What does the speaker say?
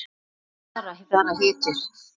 Svona svara bara hetjur.